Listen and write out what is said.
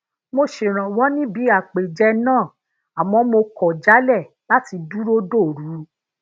mo ṣèrànwó níbi àpèjẹ náà àmó mo kò jálè lati duro dòru